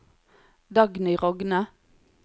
Dagny Rogne